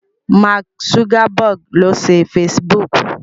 Mark Zuckerberg ló ṣe Facebook.